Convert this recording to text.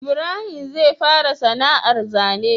Ibrahim zai fara sana ar zane